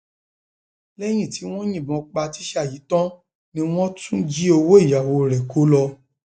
lẹyìn tí wọn yìnbọn pa tíṣà yìí tán ni wọn tún jí owó ìyàwó rẹ kó lọ